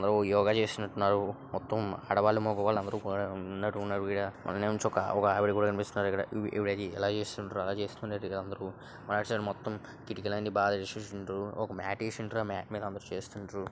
యోగా చేస్తున్నట్టున్నారు మొత్తం ఆడవాళ్లు మగవాళ్ళు అందరూ కూడా ఉన్నట్టున్నారు ఈడ అందులో నుంచి ఒక ఆవిడ ఆవిడ కూడా కనిపిస్తున్నారు ఇక్కడ ఈవిడైతే ఎలా చేస్తున్నారో అలా చేస్తున్నారు ఇక్కడ అందరూ మల్ల సైడ్ మొత్తం కిటికీ అన్ని మొత్తం తీసేసిండ్రు ఒక మ్యాట్ వేసిండ్రు ఆ మ్యాట్ మీద అందరూ చేస్తుండ్రు.